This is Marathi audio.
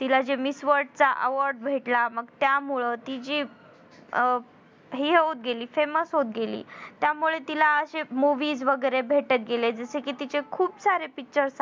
तिला जे miss word चा award भेटला मग त्यामुळं ती जी अं हि होत गेली famous होत गेली त्यामुळे तिला अशे movies वगरे भेटत गेले जशे कि तिचे खूप सारे pictures आहेत बघ